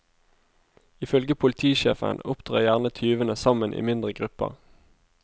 Ifølge politisjefen opptrer gjerne tyvene sammen i mindre grupper.